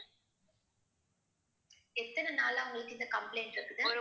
எத்தன நாளா உங்களுக்கு இந்த complaint இருக்குது